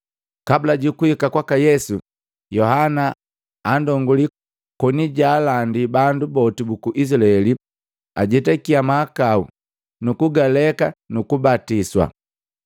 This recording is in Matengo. Kabula jukuhika kwaka Yesu, Yohana anndonguli koni jaalandi bandu boti buku Izilaeli ajetakia mahakau nukugaleka nukubatiswa.”